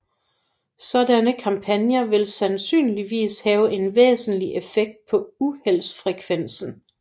Sådanne kampagner vil sandsynligvis have en væsentlig effekt på uheldsfrekvensen